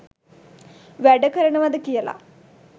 වැඩකරනවාද කියල.